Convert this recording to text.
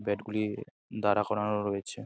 Bat গুলি দাঁড়া করানো রয়েছে।